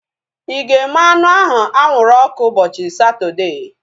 Ịga eme anụ ahu anwụrụ ọkụ ụbọchị Satọdee?